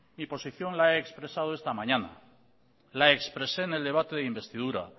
mi posición la he expresado esta mañana la expresé en el debate de investidura